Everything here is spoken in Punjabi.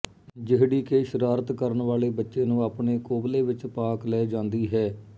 ਜਿਹੜੀ ਕਿ ਸ਼ਰਾਰਤ ਕਰਨ ਵਾਲੇ ਬੱਚੇ ਨੂੰ ਆਪਣੇ ਕੋਬਲੇ ਵਿੱਚ ਪਾਕ ਲੈ ਜਾਂਦੀ ਹੈ